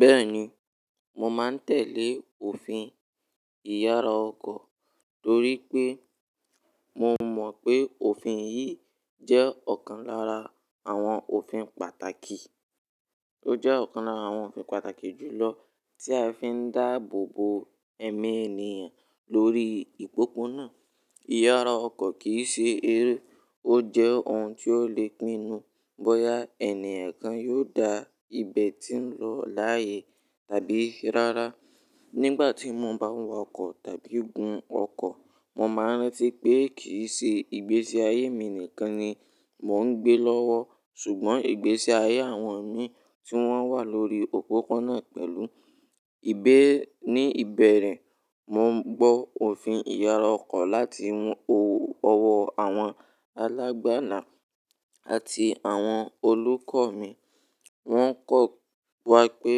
Bẹ́ẹ̀ni, mò maa ń tẹ́lẹ̀ òfin ìyára ọkọ̀ torí pé mò mọ̀ pé òfin yìí jẹ́ ọ̀kan lára àwọn òfin pàtàkì. Ó jẹ́ ọ̀kan lára àwọn òfin pàtàkì jù lọ tí a fi ń dáàbòbo ẹ̀mí ènìyàn lórí ìpópónà. Ìyára ọkọ̀ kì í ṣe eré, ó jẹ́ ohun tí ó le pinu bóyá ènìyàn kan yóò dá ibẹ̀ tí ń lọ láyè tàbí rárá. Nígbà tí mo bá ń wa ọkọ̀ tàbí gun ọkọ̀, mò ń rántí pé kì í ṣe ìgbésí ayé mi nìkan ni mò ń gbé lọ́wọ́, ṣùgbọ́n ìgbésí ayé àwọn mìi tí wọ́n wà lórí òpópó-ònà pẹ̀lú. Ní ìbẹ̀rẹ̀, mo ń gbọ́ òfin ìyára ọkọ̀ láti ọwọ́ àwọn alágbàlá àti àwọn olùkọ́ mi. Wọn kọ́ wa pé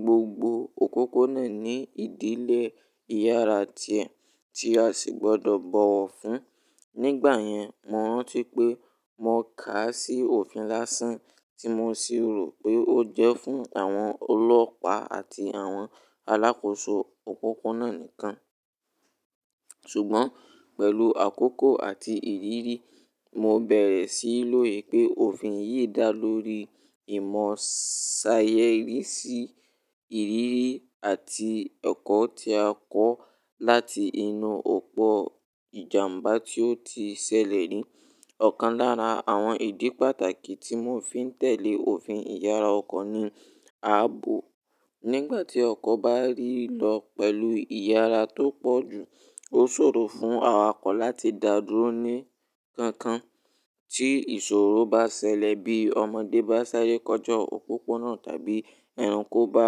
gbogbo òpópó-ònà ní ìdílé ìyára tiẹ̀ tí a sì gbọ́dọ̀ bọ̀wọ̀ fún. Nígbà yẹn, mo rántí pé mò kà á sí òfin lásán tí mo sì rò pé ó jẹ́ fún àwọn ọlọ́pàá àti àwọn alákòóso òpópó-ònà nìkan. Ṣùgbọ́n pẹ̀lú àkókò àti ìrírí, mo bẹ̀rẹ̀ sí í lò pé òfin yìí dá lórí ìmọ̀ sáyẹ́nsì, ìrírí àti ẹ̀kọ́ tí a kọ́ láti inú ọ̀pọ̀ ìjàmbá tí ó ti ṣẹlẹ̀ ni. Ọ̀kan lára àwọn ìdí pàtàkì tí mò fi ń tẹ̀lé òfin ìyára ọkọ̀ ni ààbò. Nígbà tí ọkọ̀ bá rì lọ pẹ̀lú ìyára tó pọ̀jù, ó ṣòro fún awakọ̀ láti dàdúró ní kankan. Tí ìṣòro bá ṣẹlẹ̀ bí ọmọdé bá ṣáré kọjá òpópó-ònà tàbí ẹranko bá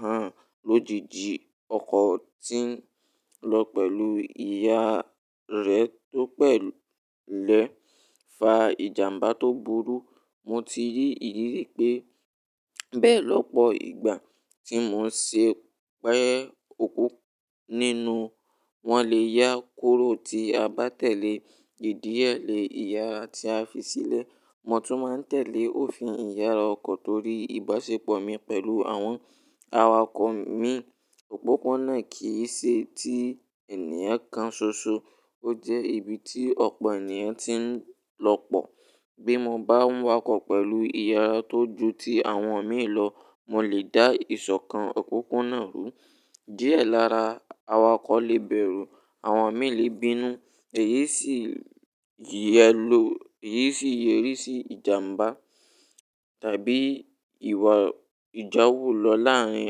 hàn lójijì, ọkọ̀ tí ń lọ pẹ̀lú ìyára rẹ̀ tó pẹ̀lẹ́ lè fa ìjàmbá tó burú. Mo ti rí ìrírí pé bẹ́ẹ̀ lọ́pọ̀ ìgbà tí mò ń ṣe pé ọkọ̀ nínú. Wọ́n lè yá kúrò tí a bá tẹ̀lé ìdíẹ̀lẹ̀ ìyára tí a fi sílẹ̀. Mo tún máa ń tẹ̀lé òfin ìyára ọkọ̀ torí ìbáṣepọ̀ mi pẹ̀lú àwọn awakọ̀ mi. Òpópó-ònà kì í ṣe ti ènìyàn kan ṣoṣo, ó jẹ́ ibi tí ọ̀pọ̀ ènìyàn ti ń lọ́pọ̀. Bí mo bá ń wa ọkọ̀ pẹ̀lú ìyára tó ju ti àwọn mì lọ, mo lè dá ìsọ̀kan òpópó-ònà rú. Díẹ̀ lára awakọ̀ lè bẹ̀rù, àwọn mì lè bínú, èyí sì yẹrí sí ìjàmbá tàbí ìjàwó lọ láàárín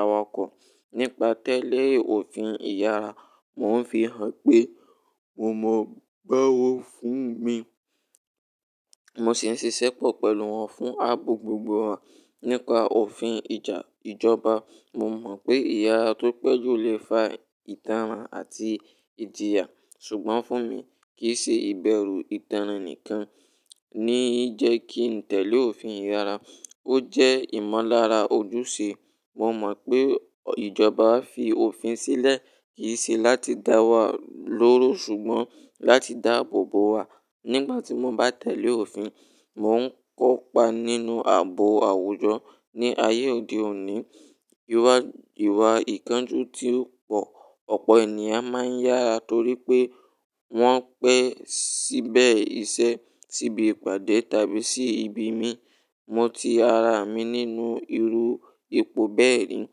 awakọ̀. Nípa tẹ́lẹ̀ òfin ìyára, mò ń fi hàn pé mò mọ̀ ọ́n báwo fún mi, mò sì ń ṣiṣẹ́pọ̀ pẹ̀lú wọn fún ààbò gbogbo wa. Nípa òfin ìjọba, mò mọ̀ pé ìyára tó pẹ́jọ lè fa ìtara àti ìjìyà, ṣùgbọ́n fún mi, kì í ṣe ìbẹ̀rù ìtara nìkan ni í jẹ́ kí ń tẹ̀lé òfin ìyára. Ó jẹ́ ìmọ̀lára ojúṣe. Mo mọ̀ pé ìjọba fi òfin sílẹ̀ kì í ṣe láti dá wa lóró ṣùgbọ́n láti dáàbòbo wa nígbà mo ń bá tẹ̀lé òfin. Mò ń kópa nínú ààbò àwùjọ ní ayé òde òní, ìwà ìkánjú tí ó pò. Ọ̀pọ̀ ènìyàn máa ń yára torí pé wọ́n pẹ́ síbẹ̀ iṣẹ́, síbi ìpàdé tàbí sí ibi mí. Mo ti rí ara mi nínú irú ipò bẹ́ẹ̀ ni,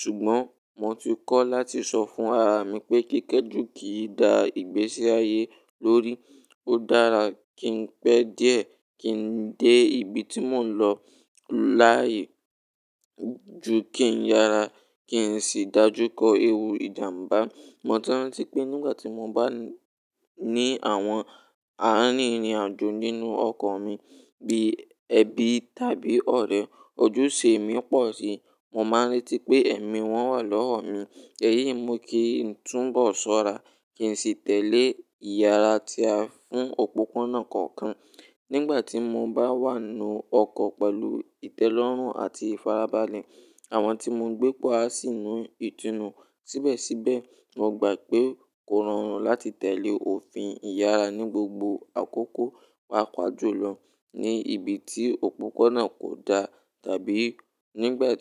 ṣùgbọ́n mò ti kọ́ láti sọ fún ara mi pé kéékèjù kì í da ìgbésí ayé lórí. Ó dára kí ń pẹ́ díẹ̀, kí ń dé ibi tí mò ń lọ láyè ju kí ń yára kí ń sì dájú kọ ewú ìjàmbá. Mo ti rántí pé nígbà tí mo bá ní àwọn arírin àjò nínú ọkọ̀ mi bí ẹbí tàbí ọ̀rẹ́, ojúṣe mi pọ̀ síi. Mo máa ń rántí pé ẹ̀mí wọn wà lọ́wọ́ mi, èyí sì mú kí n tún bọ̀ sọ́ra kí n sì tẹ̀lé ìyára tí a fún òpópó-ònà kọ̀ọ̀kan. Nígbà tí mo bá wà nínú ọkọ̀ pẹ̀lú ìtẹ́lọ́rùn àti ìfarabalẹ̀, àwọn tí mò ń gbé pọ̀ á sì nu ìtùnú. Síbẹ̀síbẹ̀, mo gbà pé kó rọrùn láti tẹ̀lé òfin ìyára ní gbogbo àkókò, pàápàá jùlọ ní ibi tí òpópó-ònà kò dá tàbí nígbà tí.